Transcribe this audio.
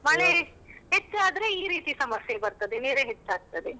ಮಳೆ ಹೆಚ್ಚಾದ್ರೆ ಈ ರೀತಿ ಸಮಸ್ಯೆ ಬರ್ತದೆ ನೆರೆ ಹೆಚ್ಚಾಗ್ತದೆ.